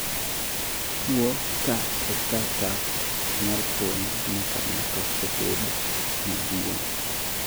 tuo kaa eka chako oknyal fueny nyaka ng'ato obed maduong'